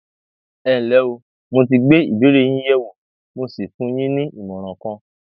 ẹnlẹ o mo ti gbé ìbéèrè yín yẹwò mo sì fún yín ní ìmọràn kan